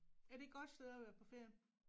Er det et godt sted at være på ferie?